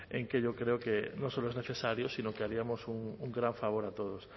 en que yo creo que no solo es necesario sino que haríamos un gran favor a todos